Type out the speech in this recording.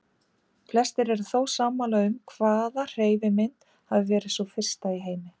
Flestir eru þó sammála um hvaða hreyfimynd hafi verið sú fyrsta í heimi.